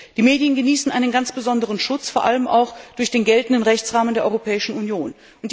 Die Medien genießen einen ganz besonderen Schutz, vor allem auch durch den geltenden Rechtsrahmen der Europäischen Union.